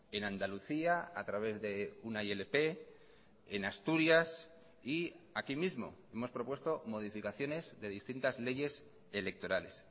en andalucía a través de una ilp en asturias y aquí mismo hemos propuesto modificaciones de distintas leyes electorales